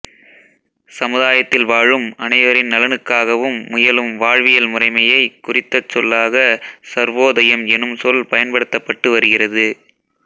சமுதாயத்தில் வாழும் அனைவரின் நலனுக்காகவும் முயலும் வாழ்வியல் முறைமையைக் குறித்த சொல்லாக சர்வோதயம் எனும் சொல் பயன்படுத்தப்பட்டு வருகிறது